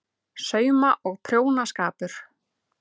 SAUMA- OG PRJÓNASKAPUR